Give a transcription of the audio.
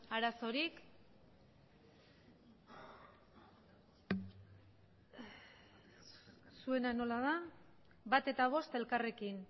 arazorik zuena nola da bat eta bost elkarrekin